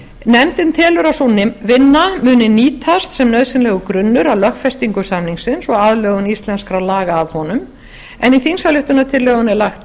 nefndin telur að sú vinna muni nýtast sem nauðsynlegur grunnur að lögfestingu samningsins og aðlögun íslenskra laga að honum en í þingsályktunartillögunni er lagt